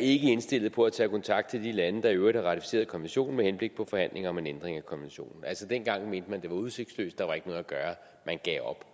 indstillet på at tage kontakt til de lande der i øvrigt har ratificeret konventionen med henblik på forhandlinger om en ændring af konventionen altså dengang mente man at udsigtsløst der var ikke noget at gøre man gav op